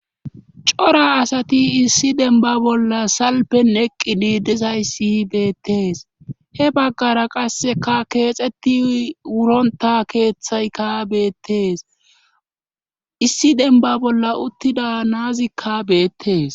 Cora asati issi denba bolla salpen eqqi diidisayssi hi beettees he baggara qasseka keexetti wuronta keeththayka beettees issi denba bolla uttida naazikka beettees